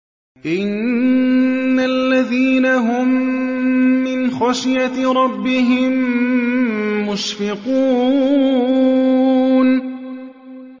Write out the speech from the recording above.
إِنَّ الَّذِينَ هُم مِّنْ خَشْيَةِ رَبِّهِم مُّشْفِقُونَ